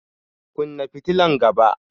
Kunna fitilan gaba!